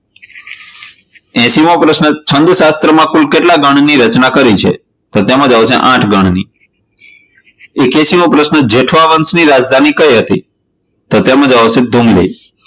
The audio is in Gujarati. એસી મો પ્રશ્ન છંદ શાસ્ત્ર માં કુલ કેટલા ગણ ની રચના કરી છે? તો તેમાં જવાબ આવશે આઠ ગણ ની. એકયાશી મો પ્રશ્ન જેઠવા વંશ ની રાજધાની કઇ હતી? તો તેમાં જવાબ આવશે .